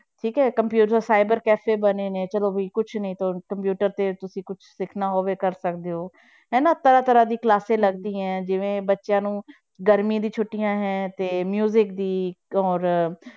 ਠੀਕ ਹੈ computer cyber cafe ਬਣੇ ਨੇ ਚਲੋ ਵੀ ਕੁਛ ਨੀ ਤਾਂ computer ਤੇ ਤੁਸੀਂ ਕੁਛ ਸਿੱਖਣਾ ਹੋਵੇ ਕਰ ਸਿੱਖ ਸਕਦੇ ਹੋ ਹੈ ਨਾ ਤਰ੍ਹਾਂ ਤਰ੍ਹਾਂ ਦੀ classes ਲੱਗਦੀਆਂ ਹੈ ਜਿਵੇਂ ਬੱਚਿਆਂ ਨੂੰ ਗਰਮੀ ਦੀ ਛੁੱਟੀਆਂ ਹੈ ਤੇ ਦੀ ਔਰ